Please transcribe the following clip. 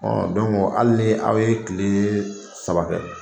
hali ni aw ye tile saba kɛ.